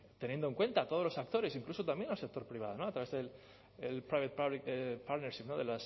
teniendo en cuenta todos los actores e incluso también al sector privado a través del public private